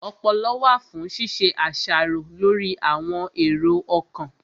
Ọpọlọ wà fún ṣíṣe àṣàrò lórí àwọn èrò ọkàn